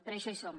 per això hi som